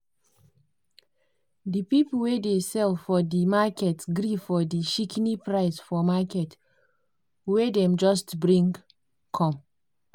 di people wey dey sell for di market gree for di shikini price for market wey dem just bring come.